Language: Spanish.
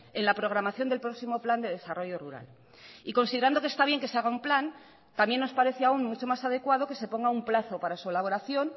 en la programación del próximo plan de desarrollo rural y considerando que está bien que se haga un plan también nos parece aun mucho más adecuado que se ponga un plazo para su elaboración